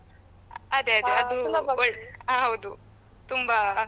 ಅದೇ ಅದೇಅದು ಆ ಹೌದು ತುಂಬಾ.